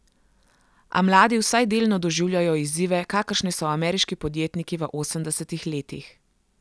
A mladi vsaj delno doživljajo izzive, kakršne so ameriški podjetniki v osemdesetih letih.